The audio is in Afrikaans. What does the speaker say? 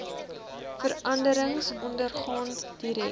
veranderings ondergaan direk